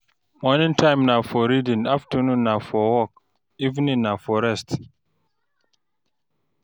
Morning time na for reading, afternoon na for work, evening na for rest.